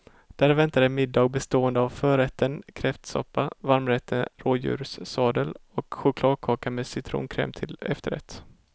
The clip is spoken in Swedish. Där väntade middag bestående av förrätten kräftsoppa, varmrätten rådjurssadel och chokladkaka med citronkräm till efterrätt.